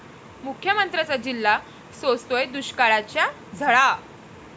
मुख्यमंत्र्यांचा जिल्हा सोसतोय दुष्काळाच्या झळा